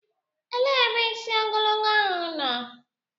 Elee ebe isi ogologo ahụ nọ?